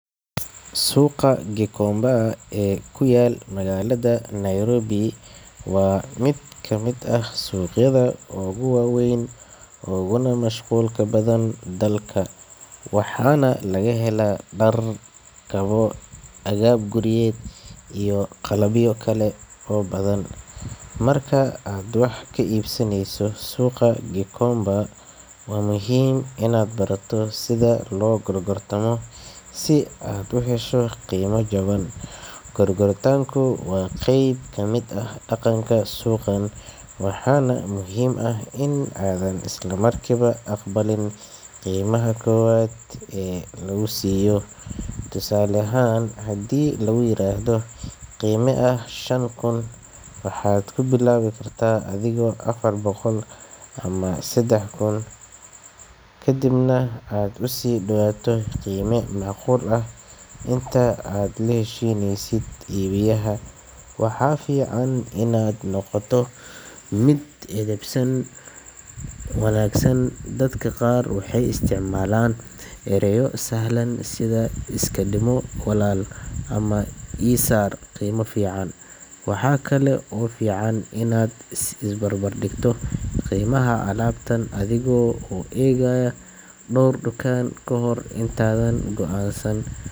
Suuqa Gikomba ee ku yaal magaalada Nairobi waa mid ka mid ah suuqyada ugu waaweyn uguna mashquulka badan dalka, waxaana laga helaa dhar, kabo, agab guryeed iyo qalabyo kale oo badan. Marka aad wax ka iibsanayso suuqa Gikomba, waa muhiim inaad barato sida loo gorgortamo si aad u hesho qiimo jaban. Gorgortanku waa qayb ka mid ah dhaqanka suuqan, waxaana muhiim ah in aadan isla markiiba aqbalin qiimaha koowaad ee lagu siiyo. Tusaale ahaan, haddii lagu yiraahdo qiime ah shan kun, waxaad ku bilaabi kartaa adiga afar boqol ama saddex kun, kadibna aad u sii dhowaato qiime macquul ah inta aad la heshiinaysid iibiyaha. Waxaa fiican inaad noqoto mid edban, qosol badan, oo ixtiraam leh si iibiyuhu uu kuu siiyo qiimo wanaagsan. Dadka qaar waxay isticmaalaan ereyo sahlan sida “iska dhimo walaal” ama “ii saar qiimo fiican”. Waxaa kale oo fiican inaad is barbar dhigto qiimaha alaabta adiga oo eegaya dhowr dukaan kahor intaadan go’aansan.